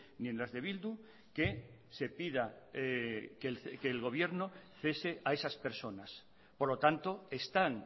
ni en las de bildu que se pida que el gobierno cese a esas personas por lo tanto están